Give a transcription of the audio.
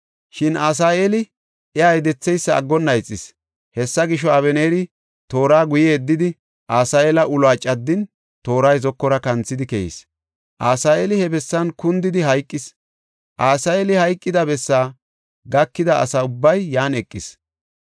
Shin Asaheeli iya yedetheysa aggonna ixis. Hessa gisho, Abeneeri toora guye yeddidi, Asaheela uluwa caddin tooray zokora kanthidi keyis. Asaheeli he bessan kundidi hayqis; Asaheeli hayqida bessaa gakida asa ubbay yan eqis.